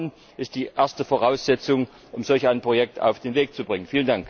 Denn Vertrauen ist die erste Voraussetzung, um solch ein Projekt auf den Weg zu bringen!